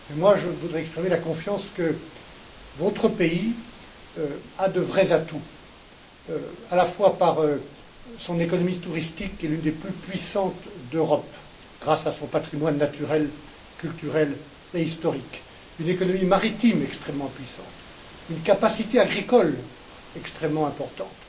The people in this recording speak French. Je voudrais exprimer ma confiance dans le fait que votre pays a de vrais atouts, à la fois à travers son économie touristique qui est une des plus puissantes d'Europe grâce à son patrimoine naturel, culturel et historique, son économie maritime extrêmement puissante, sa capacité agricole extrêmement importante.